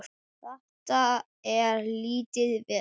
Þetta er lítið vesen.